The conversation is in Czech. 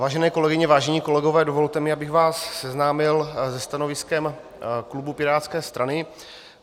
Vážené kolegyně, vážení kolegové, dovolte mi, abych vás seznámil se stanoviskem klubu pirátské strany.